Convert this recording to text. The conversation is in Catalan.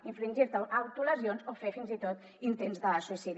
infringir te autolesions o fer fins i tot intents de suïcidi